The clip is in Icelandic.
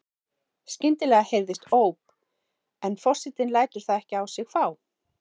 Skyndilega heyrist óp en forsetinn lætur það ekkert á sig fá.